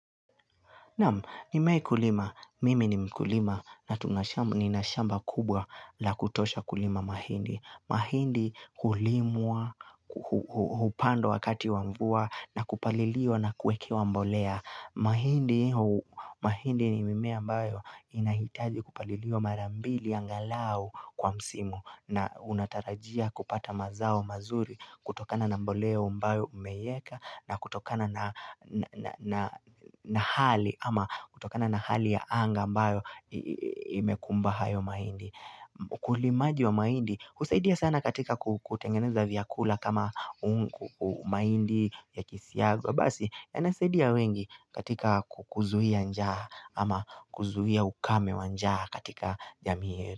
Na mimei kulima, mimi ni mkulima na tuna shamba kubwa la kutosha kulima mahindi. Mahindi hulimwa, hupandwa wakati wa mvua na kupaliliwa na kuekewa mbolea. Mahindi ni mimea mbayo inahitaji kupaliliwa mara mbili angalau kwa msimu na unatarajia kupata mazao mazuri. Kutokana na mboleo ambayo umeyeka na kutokana na hali ama kutokana na hali ya anga ambayo imekumba hayo maindi. Ukulimaji wa maindi, kusaidia sana katika kutengeneza vyakula kama umaindi ya kisiago. Basi, yanasaidia wengi katika kukuzuia njaa ama kuzuia ukame wa njaa katika jamii hiyo.